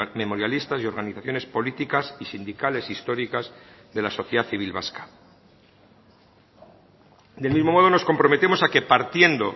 memorialistas y organizaciones políticas y sindicales históricas de la sociedad civil vasca del mismo modo nos comprometemos a que partiendo